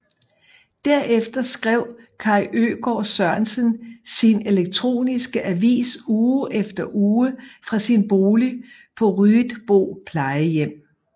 Derefter skrev Kaj Øgaard Sørensen sin elektroniske avis uge efter uge fra sin bolig på Ryetbo Plejehjem